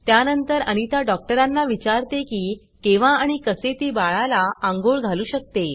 त्यानंतर अनिता डॉक्टरांना विचारते की केव्हा आणि कसे ती बाळाला आंघोळ घालू शकते